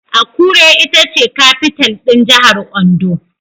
Akure ita ce kafital (capital) ɗin Jahar Ondo